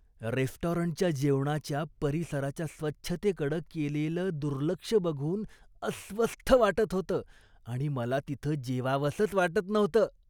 रेस्टॉरंटच्या जेवणाच्या परिसराच्या स्वच्छतेकडं केलेलं दुर्लक्ष बघून अस्वस्थ वाटत होतं आणि मला तिथं जेवावंसंच वाटत नव्हतं.